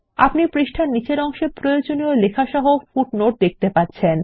আপনি পৃষ্ঠার নীচের অংশে প্রয়োজনীয় লেখা সহ পাদটীকা টি দেখতে পাচ্ছেন